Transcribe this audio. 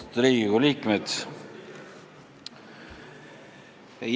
Austatud Riigikogu liikmed!